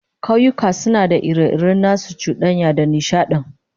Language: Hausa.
Kauyuka suna da ire-iren nasu cudanyar da nishadin